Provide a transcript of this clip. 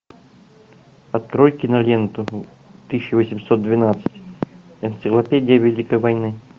открой киноленту тысяча восемьсот двенадцать энциклопедия великой войны